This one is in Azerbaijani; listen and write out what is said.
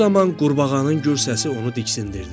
Bu zaman qurbağanın gür səsi onu diksindirdi.